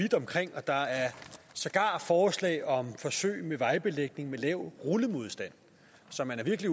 vidt omkring der er sågar forslag om forsøg med vejbelægning med lav rullemodstand så man er virkelig